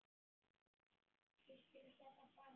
Ég skil þetta bara ekki.